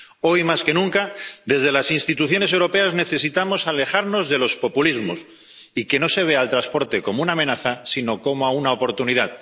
Hoy más que nunca, desde las instituciones europeas necesitamos alejarnos de los populismos, y que no se vea al transporte como una amenaza sino como una oportunidad